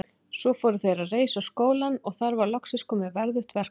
Svo fóru þeir að reisa skólann og þar var loksins komið verðugt verkefni.